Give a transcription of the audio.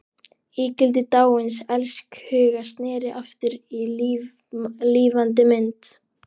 Ígildi dáins elskhuga sneri aftur í lifandi mynd.